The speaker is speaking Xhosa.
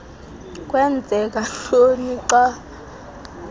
kwenzeka ntoni xa